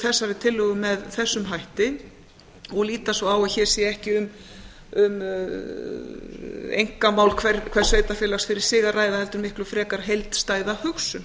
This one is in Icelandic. þessari tillögu með þessum hætti og líta svo á að hér sé ekki um einkamál hvers sveitarfélags fyrir sig að ræða heldur miklu frekar heildstæða hugsun